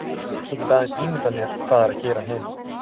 Ég get aðeins ímyndað mér hvað er að gera heima.